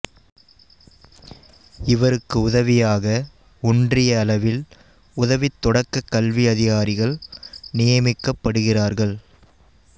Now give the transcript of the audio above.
இவருக்கு உதவியாக ஒன்றிய அளவில் உதவித் தொடக்கக் கல்வி அதிகாரிகள் நியமிக்கப்படுகிறார்கள்